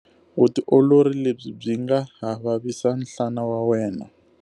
Vutiolori lebyi byi nga ha vavisa nhlana wa wena.